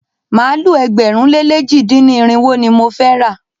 Màálu ẹgbẹ̀rún lé lèjì dín ní irinwó ni mo fẹ́ rà.